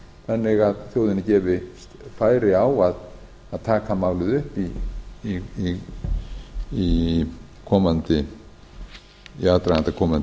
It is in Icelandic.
þannig að þjóðinni er gefið færi á að taka málið upp í aðdraganda komandi